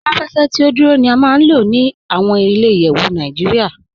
Awọn aláfẹ̀fẹ̀ tí o dúró ni à máa n lọ ni awọn ilẹ̀-ìyẹ̀wù Naijíríà.